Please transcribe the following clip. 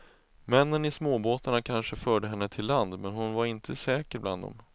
Männen i småbåtarna kanske förde henne till land, men hon var inte säker bland dem.